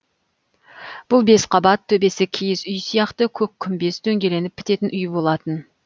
бұл бес қабат төбесі киіз үй сияқты көк күмбез дөңгеленіп бітетін үй болатын